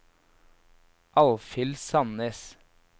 Alfhild Sannes